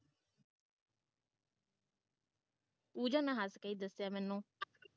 ਪੂਜਾ ਨੇ ਹੱਸ ਕੇ ਦੱਸਿਆ ਮੈਨੂੰ